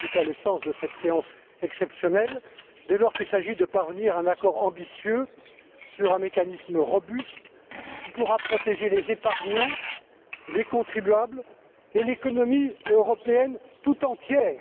C'est en tout cas le sens de cette séance exceptionnelle, dès lors qu'il s'agit de parvenir à un accord ambitieux sur un mécanisme robuste qui pourra protéger les épargnants, les contribuables et l'économie européenne toute entière.